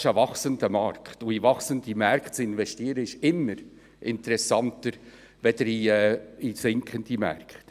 Das ist ein wachsender Markt, und in wachsende Märkte zu investieren, ist interessanter als in sinkende Märkte.